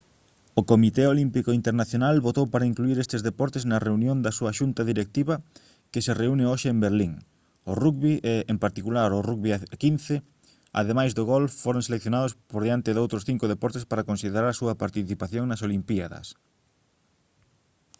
o comité olímpico internacional votou para incluír eses deportes na reunión da súa xunta directiva que se reúne hoxe en berlín o rugby e en particular o rugby a 15 ademais do golf foron seleccionados por diante doutros cinco deportes para considerar a súa participación nas olimpíadas